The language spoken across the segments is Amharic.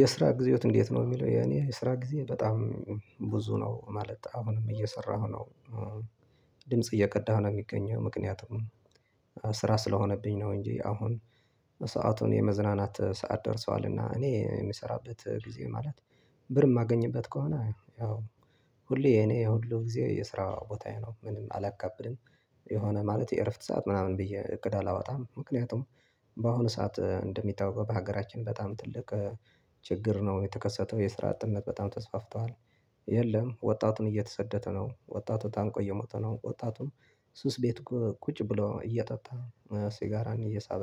የስራ ጊዜውት እንዴት ነው የሚለው የኔ የስራ ጊዜ በጣም ብዙ ነው ማለት አሁንም እየሰራሁ ነው ድምጽ እየቀዳሁ ነው የሚገኘው። ምክንያቱም ስራ ስለሆነብኝ ነው እንጂ አሁን ሰአቱን የመዝናናት ሰዓት ደርሷልና። እኔ የምሰራበት ጊዜ ማለት ብር የማገኝበት ከሆነ ያው ሁሌ የኔ የሁሉ ጊዜ የስራ ቦታዬ ነው። ምንም አላካብድም የሆነ ማለቴ እረፍት ሰዓት ምናምን ብዬ እቅድ አላወጣም። ምክንያቱም በአሁኑ ሰዓት እንደሚታወቀው በሀገራችን በጣም ትልቅ ችግር ነው የተከሰተው የስራ አጥነት በጣም ተስፋፍተዋል። የለም ወጣቱን እየተሰደተ ነው። ወጣቱ ታንቆ እየሞተ ነው። ወጣቱም ሱስ ቤቱ ቁጭ ብሎ እየጠጣ ሲጋራን እየሳበ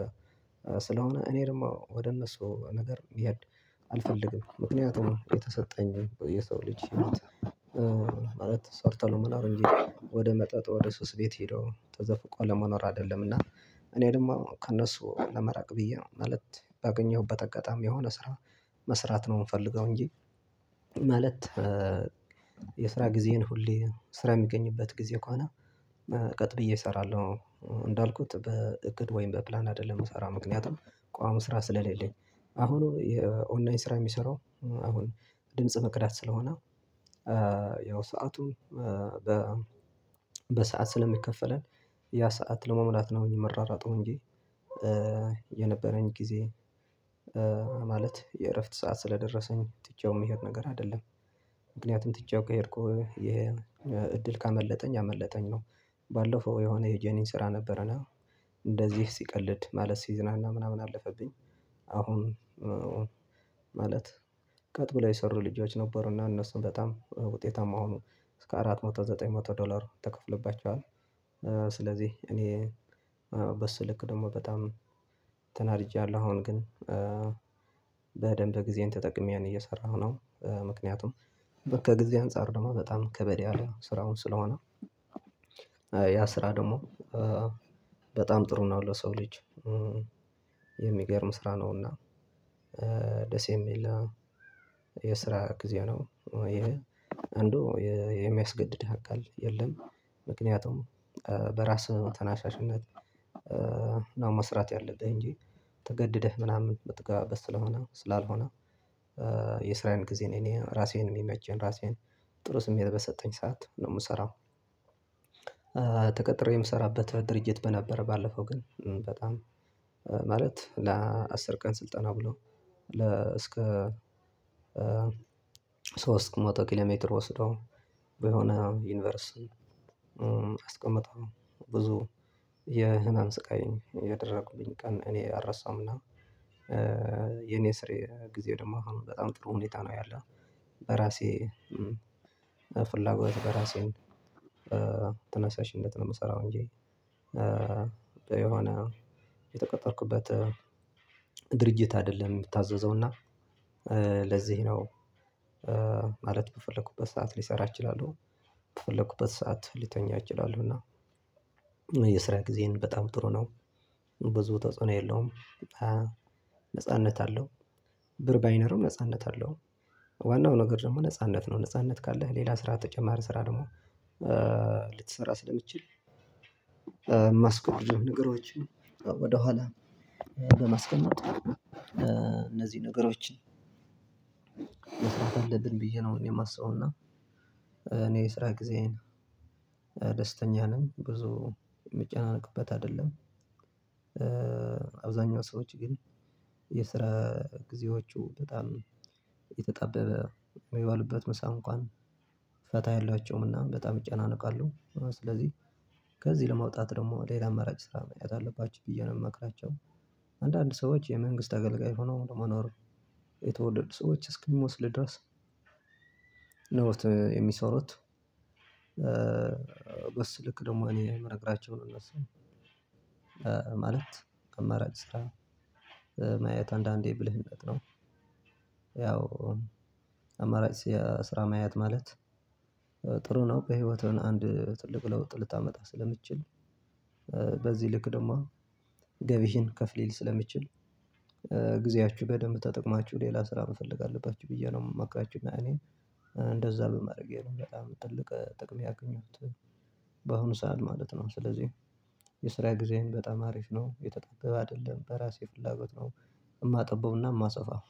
ስለሆነ እኔ ደግሞ ወደ እነሱ ነገር መሄድ አልፈልግም። ምክንያቱም የተሰጠኝ የሰው ልጅ ህይወት ማለት ሰርተህ ለመኖር እንጂ ወደ መጠጥ ወደ ሱስ ቤት ሄደው ተዘፍቀው ለመኖር አይደለምና። እኔ ደግሞ ከእነሱ ለመራቅ ብዬ ነው። ማለት ባገኘሁበት አጋጣሚ የሆነ ስራ መስራት ነው የምፈልገው። እንጂ ማለት የስራ ጊዜን ሁሌ ስራ የሚገኝበት ጊዜ ከሆነ ቀጥ ብዬ እሰራለሁ እንዳልኩት በእቅድ ወይም በፕላን አይደለም መሰራም ምክንያት ነው። ቋሚ ስራ ስለሌለኝ አሁኑ የኦንላይን ስራ የሚሰራው አሁን ድምጽ መክዳት ስለሆነ። ያው ሰዓቱ በሰአት ስለሚከፈለን ያ ሰዓት ለመሙላት ነው የመራራጠው እንጂ። የነበረኝ ጊዜ ማለት የእረፍት ሰዓት ስለደረሰኝ ጥቼውን የሚሄድ ነገር አይደለም። ምክንያቱም ጥቼውን ከሄድኩ የእድል ካመለጠኝ አመለጠኝ ነው። ባለፈው የሆነ የጀኒን ስራ ነበረና እንደዚህ ሲቀልድ ማለት ሲዝናና ምናምን አለፈብኝ። አሁን ማለት ቀጥ ብላ የሰሩ ልጆች ነበሩና እነሱም በጣም ውጤታማ ሆኖ እስከ አራት መቶ ዘጠኝ መቶ ዶላር ተከፍለባቸዋል። ስለዚህ እኔ በስልክ ደግሞ በጣም ተናድጃለሁ። አሁን ግን በደንብ ጊዜን ተጠቅሜን እየሰራሁ ነው። ምክንያቱም በከጊዜ አንፃር ደግሞ በጣም ከበድ ያለ ስራውን ስለሆነ ያ ስራ ደግሞ በጣም ጥሩ ነው ለሰው ልጅ የሚገርም ስራ ነውና። ደስ የሚል የስራ ጊዜ ነው ይሄ የሚያስገድድህ አካል የለም። ምክንያቱም በራስህ ተናሻሽነት ነው መስራት ያለብህ እንጂ ተገደደህ ምናምን የምትገባበት ስለሆነ ስላልሆነ። የስራዬን ጊዜ ነው እኔ ራሴን የሚመቸኝ ራሴን ጥሩ ስሜት በሰጠኝ ሰዓት ነው የምሰራው። ተቀጥሬ የምሰራበት ድርጅት በነበረ ባለፈው ግን በጣም ማለት ለአስር ቀን ስልጠና ብሎ ለ እስከ ሶስት መቶ ኪሎ ሜትር ወስዶ የሆነ ዩኒቨርስ አስቀምጠው ብዙ የህመም ስቃይ ያደረኩብኝ ቀን እኔ አልረሳምና። የኔ ስሬ ጊዜ ደሞ በጣም ጥሩ ሁኔታ ነው ያለው በራሴ ፍላጎት በራሴን ትነሳሽነት ነው የምሰራው እንጂ። የሆነ የተቀጠርኩበት ድርጅት አይደለም። የምታዘዘውና ለዚህ ነው ማለት በፈለኩበት ሰዓት ሊሰራ እችላለሁ። በፈለኩበት ሰዓት ሊተኛ እችላለሁ። እና የስራ ጊዜን በጣም ጥሩ ነው ብዙ ተጽዕኖ የለውም። ነጻነት አለው ብር ባይነርም ነጻነት አለው። ዋናው ነገር ደግሞ ነጻነት ነው። ነጻነት ካለህ ሌላ ስራ ተጨማሪ ስራ ደግሞ ልትሰራ ስለምትችል የማስቆም ነገሮችን ወደኋላ በማስቀመጥ እነዚህ ነገሮችን መስራት አለብን ብዬ ነው የማስበው። እና እኔ የስራ ጊዜዬን ደስተኛ ነኝ ብዙ የሚጨናነቅበት አይደለም። አብዛኛው ሰዎች ግን የስራ ጊዜዎቹ በጣም የተጣበበ የሚባሉበት ምሳ እንኳን ፈታ ያሏቸውምና በጣም እጨናነቃለሁ። ስለዚህ ከዚህ ለማውጣት ደግሞ ሌላ አማራጭ ስራ መያዝ አለባችሁ ብዬ ነው የምመክራቸው። አንዳንድ ሰዎች የመንግስት አገልጋይ ሆኖ መኖር የተወለዱ ሰዎች እስኪመስሉ ድረስ ነው የሚሰሩት። በስልክ ደግሞ እኔ የምነግራቸው ነው የምነሳው። ማለት አማራጭ ስራ ማየት አንዳንዴ ብልህነት ነው። ያው አማራጭ ስራ ማያት ማለት ጥሩ ነው በህይወቱን አንድ ትልቅ ለውጥ ልታመጣ ስለምትችል። በዚህ ልክ ደግሞ ገቢህን ከፍ ሊል ስለምትችል። ጊዜያችሁ በደንብ ተጠቅማችሁ ሌላ ስራ መፈለግ አለባችሁ ብዬ ነው የማምክራቹ። እና እኔን እንደዛ በማድረጌ ነው በጣም ትልቅ ጥቅም ያገኙት። በአሁኑ ሰዓት ማለት ነው። ስለዚህ የስራ ጊዜዬን በጣም አሪፍ ነው የተጠበበ አይደለም በራሴ ፍላጎት ነው። የማጠበውና የማሰፋው